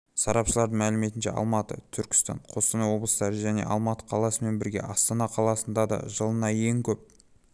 сарапшылардың мәліметінше алматы түркістан қостанай облыстары және алматы қаласымен бірге астана қаласында да жылына ең көп